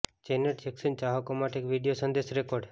Janet Jackson ચાહકો માટે એક વિડિઓ સંદેશ રેકોર્ડ